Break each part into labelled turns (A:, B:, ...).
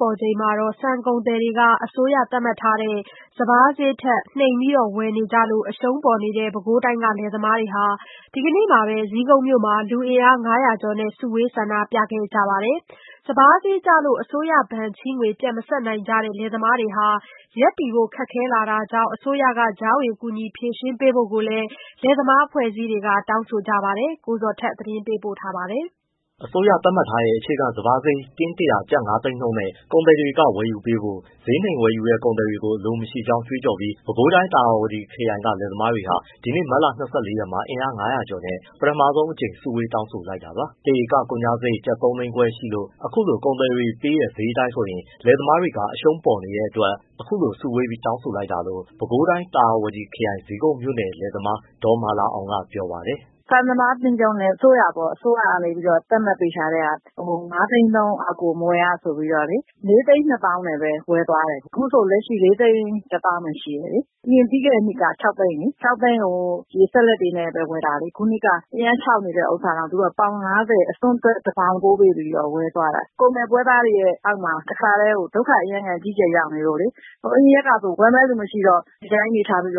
A: ပေါ်ချိန်မှာ ဆန်ကုန်သည်တွေက အစိုးရသတ်မှတ်ထားတဲ့ စပါးဈေးထက် နှိမ်ပြီးဝယ်နေကြလို့ အရှုံးပေါ်နေတဲ့ ပဲခူးတိုင်းက လယ်သမားတွေဟာ မတ်လ ၂၄ ရက်မှာ လူအင်အား ၅၀၀ ကျော်နဲ့ ပထမဆုံးအကြိမ် စုဝေး ဆန္ဒပြခဲ့ကြပါတယ်။ စပါးဈေးကျလို့ အစိုးရဘဏ်ချေးငွေ ပြန်မဆပ်နိုင်ကြတဲ့ လယ်သမားတွေဟာ ရပ်တည်ဖို့ခက်ခဲလာတာကြောင့် အစိုးရက ကြားဝင် ကူညီဖြေရှင်းပေးဖို့လည်း လယ်သမားအဖွဲ့အစည်းတွေက တောင်းဆိုကြပါတယ်။ ဒီအကြောင်း အပြည့်အစုံကို ကိုဇော်ထက်က ပြောပြပေးထားပါတယ်။
B: အစိုးရ သတ်မှတ်ထားတဲ့ အခြေခံစပါးဈေး တင်း ၁၀၀၊ ကျပ် ၅ သိန်းနဲ့ ကုန်သည်တွေ ဝယ်ယူပေးဖို့နဲ့ ဈေးနှိမ်ဝယ်ယူတဲ့ ကုန်သည်တွေကို အလိုမရှိကြောင်းကြွေးကြော်ပြီး ပဲခူးတိုင်း သာယာဝတီခရိုင်က လယ်သမားတွေဟာ ဒီနေ့မတ်လ ၂၄ ရက်မှာ အင်အား ၅၀၀ ကျော်နဲ့ ပထမဆုံးအကြိမ် စုဝေး တောင်းဆိုလိုက်တာပါ။ တဧကကုန်ကျစရိတ်က ကျပ် ၃ သိန်းခွဲရှိလို့ အခုလိုကုန်သည်တွေပေးတဲ့ ဈေးအတိုင်းဆိုရင် လယ်သမားတွေ အရှုံးပေါ်နေတဲ့အတွက် အခုလိုစုဝေးပြီး တောင်းဆိုလိုက်တာလို့ ပါဝင်တောင်းဆိုခဲ့တဲ့ ပဲခူးတိုင်း သာယာဝတီခရိုင် ဇီးကုန်းမြို့နယ် လယ်သမား ဒေါ်မာလာအောင်က ပြောပါတယ်။
A: “ဆန်စပါးအသင်းချုပ်နဲ့ အစိုးရက သတ်မှတ်ပေးထားတဲ့ဟာ ၅ သိန်းနှုန်းအောက်ကို မဝယ်ဖို့ပေါ့လေ။ ၄၂၀,၀၀၀ နဲ့ပဲ ဝယ်သွားတယ်။ အခုဆိုရင် ၄၁၀,၀၀၀ ပဲရှိတယ်။ အရင်ပြီးခဲ့တဲ့နှစ်က ၆ သိန်းလေ.... ၆ သိန်းကို ရေစက်လက်နဲ့ပဲ ဝယ်တာလေ။ အခုနှစ်က အရမ်းခြောက်နေတဲ့ဟာတောင် ပေါင် ၅၀ အစွန်းထွက် တပေါင်ဖိုးပေးပြီးတော့ ဝယ်သွားတာ။ ကုန်သည်ပွဲစားတွေရဲ့အောက်မှာ ဒုက္ခအကြီးအကျယ် ရောက်နေလို့လေ အရင်ရက်ကဆို ဝယ်မယ့်သူမရှိတော့ ဒီအတိုင်းချည်းတွေထားပြီး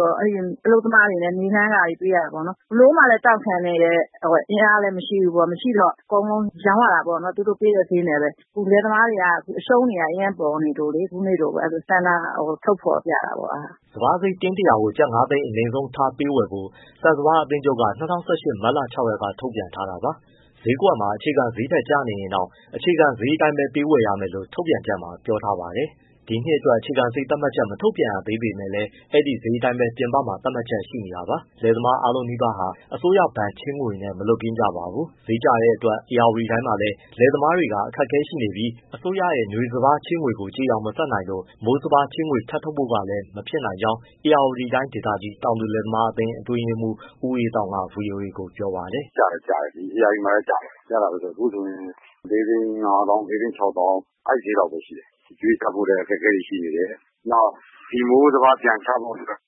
A: အလုပ်သမားတွေ နေလှမ်းခတွေ ပေးရတယ်ပေါ့ ဘယ်လိုမှလည်း တောင့်ခံနိုင်တဲ့ အင်အားလည်း မရှိတော့ အကုန်လုံးရောင်းရတာပေါ့ သူတို့ပေးတဲ့ ဈေးနဲ့ပဲ။ လယ်သမားတွေက အရှုံးတွေ အရမ်းပေါ်နေလို့ ဆန္ဒထုတ်ဖော်ပြတာပေါ့။
B: ” စပါးဈေးတင်း ၁၀၀ ကို ကျပ် ၅ သိန်း အနိမ့်ဆုံးထားပေး ဝယ်ဖို့ ဆန်စပါးအသင်းချုပ်က ၂၀၁၈ မတ်လ ၆ ရက်က ထုတ်ပြန်ထားတာပါ။ ဈေးကွက်မှာ အခြေခံဈေးထက်ကျနေရင်တောင် အခြေခံဈေးအတိုင်းပဲ ဝယ်ရမယ်လို့ ထုတ်ပြန်ချက်မှာ ပြောထားပါတယ်။ ဒီနှစ်အတွက် အခြေခံဈေးသတ်မှတ်ချက် မထုတ်ပြန်သေးပေမဲ့ အဲဒီဈေးအတိုင်းပဲ ပြင်ပမှာ သတ်မှတ်ချက်ရှိနေတာပါ။ လယ်သမားအားလုံးနီးပါးဟာ အစိုးရဘဏ်ချေးငွေနဲ့ မလွတ်ကင်းကြပါဘူး။ စပါးဈေးကျတဲ့အတွက် ဧရာဝတီတိုင်းမှာလည်း လယ်သမားတွေ အခက်အခဲရှိနေပြီး အစိုးရနွေစပါးချေးငွေကို ကျေအောင်မဆပ်နိုင်လို့ မိုးစပါးချေးငွေ ထပ်ထုတ်ဖို့လည်း မဖြစ်နိုင်ကြောင်း ဧရာဝတီတိုင်း ဒေသကြီး တောင်သူလယ်သမားအသင်း အတွင်းရေးမှူး ဦးအေးသောင်းက ဗွီအိုအေကို ပြောပါတယ်။ “ကျတယ်၊ ကျတယ် ဒီဧရာဝတီမှာလည်းကျတယ်။ အခုဆိုရင် ၄၅၀,၀၀၀၊ ၄၆၀,၀၀၀ ပဲရှိတယ်။ အကြွေးဆပ်ဖို့အတွက် အခက်အခဲတွေ ရှိနေတယ်။ နောက်ဒီမိုးစပါး ပြန်ချဖို့အတွက်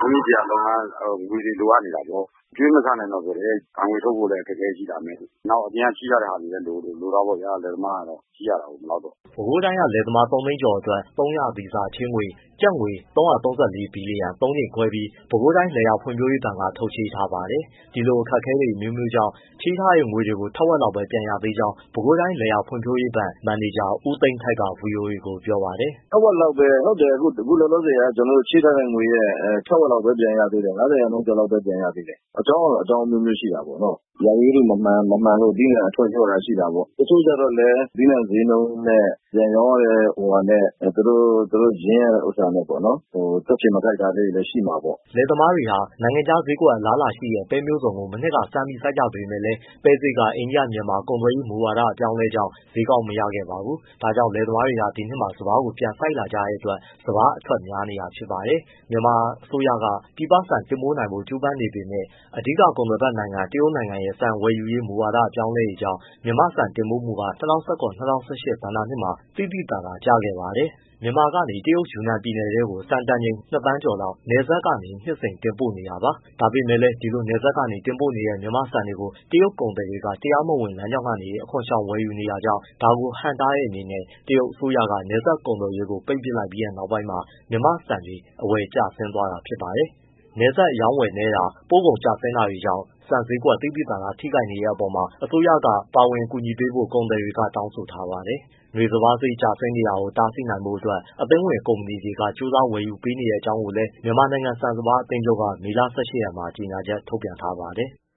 B: လည်း ရင်းနှီးစရာငွေတွေ လိုအပ်နေတာပေါ့ အကြွေးမဆပ်တဲ့အတွက် ဘဏ်ငွေထုတ်ဖို့လည်း အခက်အခဲတွေ ရှိလာမယ်။ နောက်အပြင်က ချေးထားတာတွေလည်း လိုတာပေါ့ဗျာ။ လယ်သမားကတော့ ချေးရတာပေါ့ မလောက်တော့။” ပဲခူးတိုင်းက လယ်သမား ၃ သိန်းကျော်ကို ၃ ရာသီစာ ချေးငွေကျပ် ၃၃၄ ဘီလီယံ ၃ ကြိမ်ခွဲပြီး ပဲခူတိုင်းလယ်ယာ ဖွံ့ဖြိုးရေးဘဏ်က ထုတ်ချေးထားပါတယ်။ ဒီလိုအခက်အခဲ အမျိုးမျိုးကြောင့် ချေထားတဲ့ငွေကို ထက်ဝက်လောက်ပဲ ပြန်ရသေးကြောင်း ပဲခူးတိုင်း လယ်ယာဖွံ့ဖြိုးရေးဘဏ် မန်နေဂျာ ဦးသိန်းထိုက်က ဗွီအိုအေကို ပြောပါတယ်
A: ။ “ထက်ဝက်လောက်ပဲ ဟုတ်တယ် အခုလောလောဆယ် ချေးထားတဲ့ ငွေရဲ့ထက်ဝက်လောက်ပဲပြန်ရသေးတယ် ၅၀ ရာခိုင်နှုန်းကျော်ပဲ ပြန်ရသေးတယ်။ အကြောင်းကတော့အကြောင်းအမျိုးမျိုးရှိတာပေါ့နော်။ ရာသီဥတုမမှန်လို့ သီးနှံအထွက် လျော့တာ ရှိတာပေါ့။ တချို့ကျတော့လည်း သီးနှံဈေးနှုန်းနဲ့ ပြန်ရောင်းရတဲ့ဟာနဲ့ သူတို့ရင်းရတဲ့ ဥစ္စာနဲ့ တွက်ခြေမကိုက်တာလေးတွေလည်း ရှိမှာပေါ့။
B: ” လယ်သမားတွေက နိုင်ငံခြားဈေးကွက် အလားအလာရှိတဲ့ ပဲမျိုးစုံကို မနှစ်က စမ်းကြပေမဲ့လည်း ပဲဈေးကလည်း အိန္ဒိယ-မြန်မာ ကုန်သွယ်ရေးမူဝါဒ အပြောင်းအလဲတွေကြောင့် ဈေးကောင်း မရခဲ့ပါဘူး။ ဒါကြောင့် လယ်သမားတွေက ဒီနှစ်မှာ စပါးကိုပြန်စိုက်လာကြတဲ့အတွက် စပါးအထွက်များနေတာ ဖြစ်ပါတယ်။ မြန်မာအစိုးရက ပြည်ပဆန်တင်ပို့နိုင်ဖို့ ကြိုးပမ်းနေပေမဲ့ အဓိက ကုန်သွယ်ဖက်နိုင်ငံ တရုတ်ရဲ့ ဆန်ဝယ်ယူရေးမူဝါဒ အပြောင်းလဲတွေကြောင့် မြန်မာ့ဆန်တင်ပို့မှုဟာ ၂၀၁၇-၂၀၁၈ ဘဏ္ဍာနှစ်မှာ သိသိသာသာ ကျခဲ့ပါတယ်။ မြန်မာက တရုတ် ယူနန်ပြည်နယ်ထဲကို ဆန်တန်ချိန် ၂ သန်းကျော်လောက် နယ်စပ်ကနေ နှစ်စဉ် တင်ပို့နေတာပါ။ ဒါပေမဲ့လည်း ဒီလိုနယ်စပ်ကနေ တင်ပို့နေတဲ့ မြန်မာ့ဆန်တွေကို တရုတ်ကုန်သည်တွေက တရားမဝင်လမ်းကြောင်းကနေ အခွန်ရှောင် ဝယ်ယူနေတာကြောင့် ဒါကိုဟန့်တားတဲ့အနေနဲ့ တရုတ်အစိုးရက နယ်စပ်ကုန်သွယ်ရေးကို ပိတ်ပစ်လိုက်ပြီးနောက် မြန်မာ့ဆန်တွေ အဝယ်ကျဆင်းသွားခဲ့တာပါ။ နယ်စပ်အရောင်းအဝယ် နည်းတာ၊ ပို့ကုန်ကျဆင်းတာတွေကြောင့် ဆန်ဈေးကွက် သိသိသာသာ ထိခိုက်နေတဲ့အပေါ်မှာ အစိုးရက ပါဝင်ကူညီပေးဖို့ ကုန်သည်တွေက တောင်းဆိုထားပါတယ်။ နွေစပါးဈေး ကျဆင်းနေတာကို တားဆီးနိုင်ဖို့အတွက် အသင်းဝင်ကုမ္ပဏီတွေ ကြိုးစား ဝယ်ယူပေးနေတဲ့အကြောင်းလည်း မြန်မာနိုင်ငံ ဆန်စပါး အသင်းချုပ်က မေလ ၁၈ရက်မှာ ကြေညာချက် ထုတ်ပြန်ထားပါတယ်။